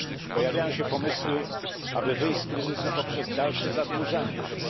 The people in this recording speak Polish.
Pojawiają się pomysły, aby wyjść z kryzysu poprzez dalsze zadłużanie się.